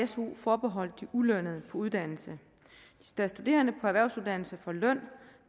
su forbeholdt de ulønnede på uddannelse da studerende på erhvervsuddannelse får løn